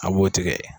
A b'o tigɛ